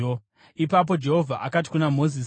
Ipapo Jehovha akati kuna Mozisi: